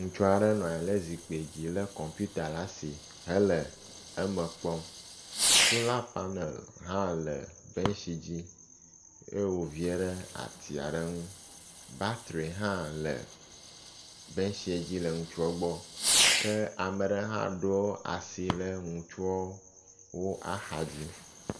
Ŋutsua ɖe nɔ anyi ɖe zikpui dzi le kɔmputa ɖe asi hele eme kpɔm. sola panel hã le bentsi dzi ye wo vie ɖe atsi aɖe nu. batri hã le bentse dzi le ŋutsua gbɔ ke ame aɖe hã ɖo asi ɖe ŋutsuawo axadzi.